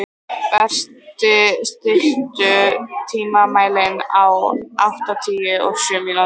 Berti, stilltu tímamælinn á áttatíu og sjö mínútur.